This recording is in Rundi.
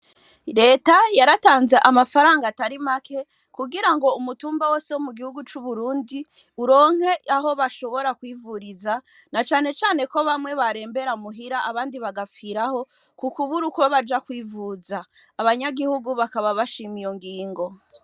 Reta yaratanze amafaranga atari make kugirango umutumba wose wo mu gihugu c'Uburundi uronke aho bashobora kwivuriza na cane cane ko bamwe barembera muhira abandi bagapfiraho ku kubura uko baja kwivuza abanyagihugu bakaba bashima iyo ngingo